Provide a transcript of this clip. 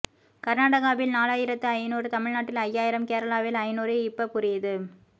கர்நாடகாவில் நாலாயிரத்து ஐநூறு தமிழ்நாட்டில் ஐயாயிரம் கேரளாவில் ஐநூறு இப்ப புரியுது